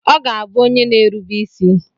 Ọ ga-abụ onye na-erube isi.